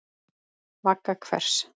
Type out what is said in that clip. Vagga hvers?